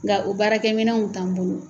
Nka o baarakɛminanw t'an bolo